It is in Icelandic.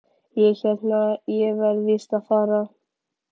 Ég hérna. ég verð víst að fara!